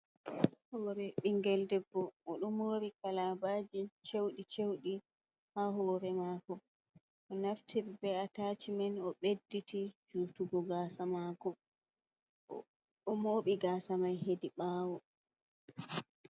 Hoore ɓinngel debbo, oɗo moori kalaabaaji cewɗi cewɗi ha hoore maako. O naftiri bee ataacimen, o beɗɗiti juutungo gaasa maako, o mooɓi gaasa mai hedi ɓaawo.